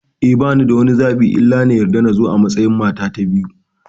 Eh, banida wani zaɓi illa na yarda nazo a matsayin mata ta biyu.